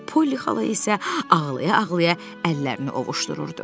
Polly xala isə ağlaya-ağlaya əllərini ovușdururdu.